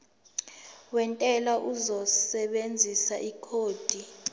wentela uzosebenzisa ikhodi